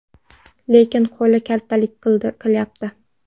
Lekin qo‘li kaltalik qilyapti.